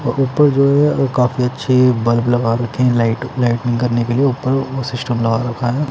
व ऊपर जो है वो काफी अच्छे बल्ब लगा रखे हैं लाइट लाइटनिंग करने के लिए ऊपर वो सिस्टम लगा रखा है।